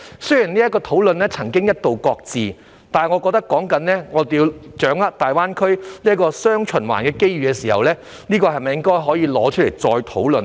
雖然這個討論曾經一度擱置，但我認為說到要掌握"大灣區雙循環"的機遇時，是否可以重新提出這項議題再作討論呢？